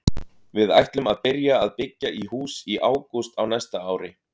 Við ætlum að byrja að byggja í hús í ágúst á næsta ári.